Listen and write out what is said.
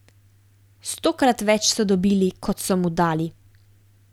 Stokrat več so dobili, kot so mu dali.